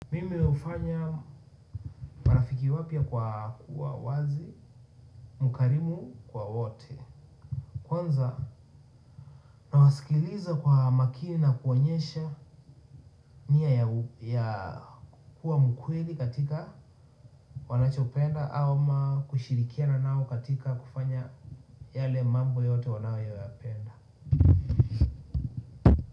Mimi hufanya marafiki wapya kwa kuwa wazi, mkarimu kwa wote kwanza na wasikiliza kwa makini na kuonyesha nia ya kuwa mkweli katika wanachopenda ama kushirikiana nao katika kufanya yale mambo yote wanayo ya penda.